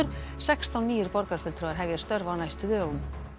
sextán nýir borgarfulltrúar hefja störf á næstu dögum